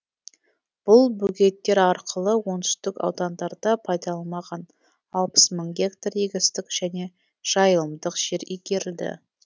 бұл бөгеттер арқылы оңтүстік аудандарда пайдаланылмаған алпыс мың гектар егістік және жайылымдық жер игерілді